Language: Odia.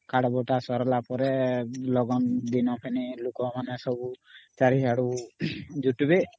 Card ବଣ୍ଟା ସରିଲା ପରେ ଲଗନ ଦିନ ଫେନି ଲୋକ ମାନେ ସବୁ ଚାରିଆଡୁ ଜୁଟିବେ